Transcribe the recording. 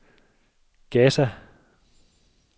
Gaza